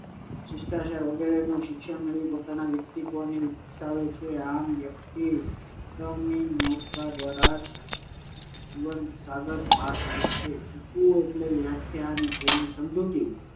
શિષ્ટાચારનું શિક્ષણ મેળવીને વ્યક્તિ પોતાના વ્યક્તિત્વને વિકસાવે છે. આમ, વ્યક્તિ શિક્ષણની નૌકા દ્વારા જ જીવન સાગર પાર કરે છે. શીખવું એટલે વ્યાખ્યા અને તેની સમજૂતી